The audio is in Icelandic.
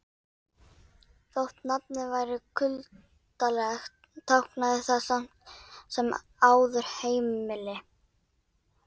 Þótt nafnið væri kuldalegt táknaði það samt sem áður heimili.